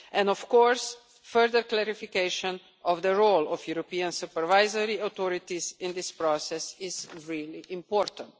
Of course, further clarification of the role of European supervisory authorities in this process is really important.